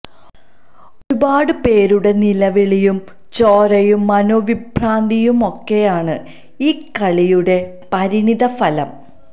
ഒരുപാട് പേരുടെ നിലവിളിയും ചോരയും മനോവിഭ്രാന്തിയുമൊക്കെയാണ് ഈ കളിയുടെ പരിണിത ഫലം